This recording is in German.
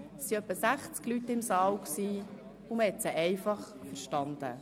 Es befanden sich etwa 60 Leute im Saal, und man hat die Vortragenden einfach verstanden.